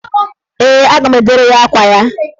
Ee, a ga m edere ya akwa ya.